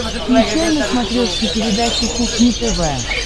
включай на смотрешке передачу кухня тв